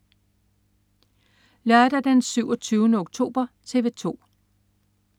Lørdag den 27. oktober - TV 2: